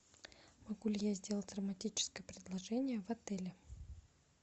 могу ли я сделать романтическое предложение в отеле